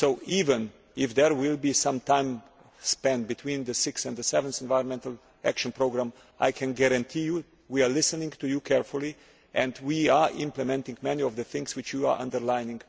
Even if there will be some time between the 6th and the 7th Environmental Action Programmes, I can assure you that we are listening to you carefully and are implementing many of the things that you have underlined.